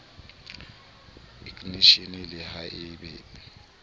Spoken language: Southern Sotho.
eknisheneng le ha e be